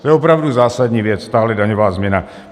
To je opravdu zásadní věc, tahle daňová změna.